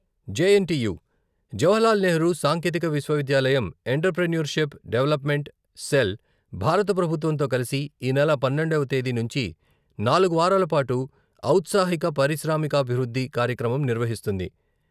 J N T U Jawaharlal Nehru సాంకేతిక విశ్వవిద్యాలయం entrepreneurship development cell భారత ప్రభుత్వంతో కలిసి ఈ నెల పన్నెండవ తేదీ నుంచి నాలుగు వారాల పాటు ఔత్సాహిక పారిశ్రామికాభివృద్ధి కార్యక్రమం నిర్వహిస్తుంది.